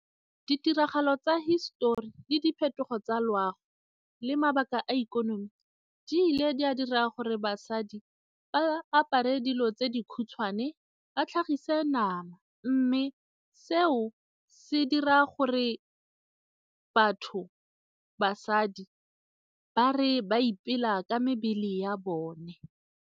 Ditiragalo tsa hisetori le diphetogo tsa loago le mabaka a ikonomi di ile di a dira gore basadi ba apare dilo tse di khutshwane ba tlhagise nama mme seo se dira gore batho, basadi ba re ba ipela ka mebele ya bone.